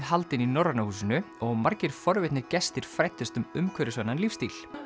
haldin í Norræna húsinu og margir forvitnir gestir fræddust um umhverfisvænan lífsstíl